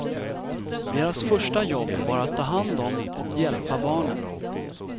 Deras första jobb var att ta hand om och hjälpa barnen.